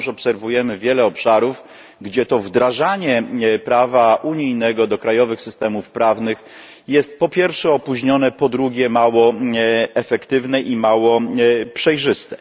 Wciąż obserwujemy wiele obszarów, gdzie wdrażanie prawa unijnego do krajowych systemów prawnych jest po pierwsze opóźnione, a po drugie mało efektywne i mało przejrzyste.